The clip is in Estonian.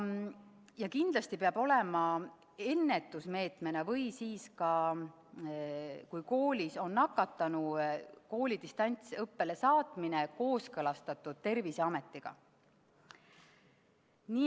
Ja kindlasti peab olema ennetusmeetmena või kui koolis on nakatanu, kooli distantsõppele saatmine kooskõlastatud Terviseametiga.